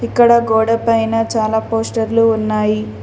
ఇక్కడ గోడ పైన చాలా పోస్టర్లు ఉన్నాయి.